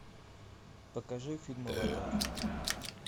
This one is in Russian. покажи фильм аватар